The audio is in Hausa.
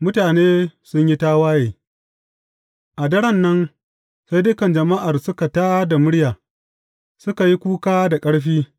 Mutane sun yi tawaye A daren nan, sai dukan jama’ar suka tā da murya, suka yi kuka da ƙarfi.